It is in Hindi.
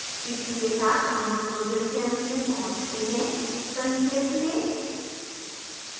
इसी के साथ हम tutorial के अंत में पहुँचते हैं संक्षेप में